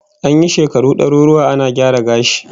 An yi shekaru daruruwa ana gyara gashi